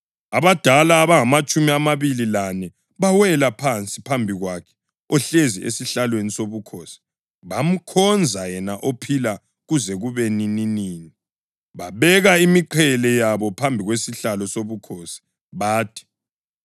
abadala abangamatshumi amabili lane bawela phansi phambi kwakhe ohlezi esihlalweni sobukhosi, bamkhonza yena ophila kuze kube nininini. Babeka imiqhele yabo phambi kwesihlalo sobukhosi bathi: